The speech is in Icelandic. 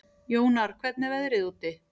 Jónar, hvernig er veðrið úti?